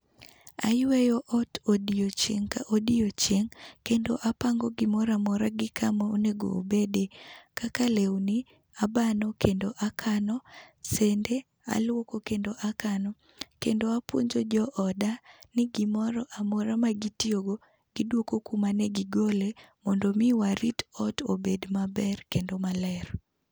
Ayueyo ot odiechieng' ka odiechieng' kendo apango gimoro amora gi kama onego obede. Kaka lewni abano kendo akano. Sende aluoko kendo akano. Kendo apuonjo jooda ni gimoro amora magitiyo go, giduoko kuma ne gigole mondo mi warit ot obed maber kendo maler.